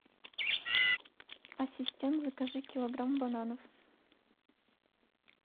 ассистент закажи килограмм бананов